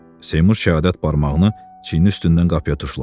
Seymur şəhadət barmağını çiynin üstündən qapıya tuşladı.